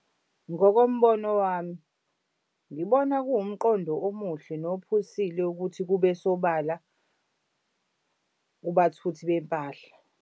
Ngokombono wami ngibona kuwumqondo omuhle nophusile ukuthi kube sobala kubathuthi bempahla.